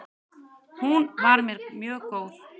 Hún var mér mjög góð.